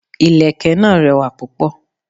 Ìlẹ̀kẹ̀ náà rẹwà púpọ̀.